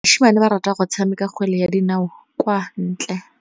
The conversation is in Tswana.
Basimane ba rata go tshameka kgwele ya dinaô kwa ntle.